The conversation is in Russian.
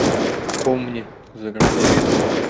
помни загрузи